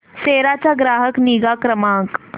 सेरा चा ग्राहक निगा क्रमांक